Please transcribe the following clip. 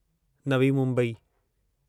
Navi Mumbai